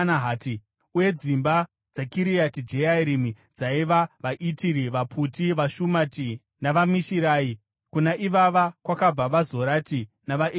uye dzimba dzaKiriati Jearimi dzaiva: vaItiri, vaPuti, vaShumati navaMishirai. Kuna ivava kwakabva vaZorati navaEshitaori.